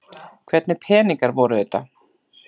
Hvernig peningar voru þetta?